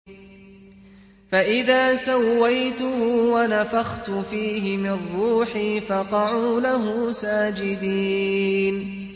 فَإِذَا سَوَّيْتُهُ وَنَفَخْتُ فِيهِ مِن رُّوحِي فَقَعُوا لَهُ سَاجِدِينَ